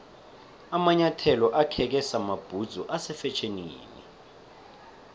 amanyathelo akheke samabhudzu ase fetjhenini